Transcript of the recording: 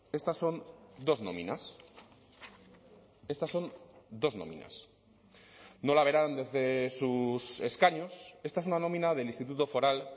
estas son dos nóminas estas son dos nóminas no la verán desde sus escaños esta es una nómina del instituto foral